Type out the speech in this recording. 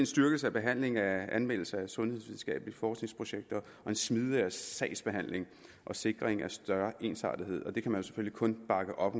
styrkelse af behandlingen af anmeldelser af sundhedsvidenskabelige forskningsprojekter og en smidigere sagsbehandling og sikring af større ensartethed det kan man selvfølgelig kun bakke op